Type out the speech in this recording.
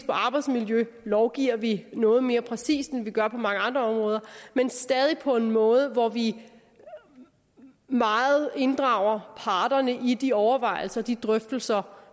arbejdsmiljø lovgiver vi noget mere præcist end vi gør på mange andre områder men stadig på en måde hvor vi meget inddrager parterne i de overvejelser de drøftelser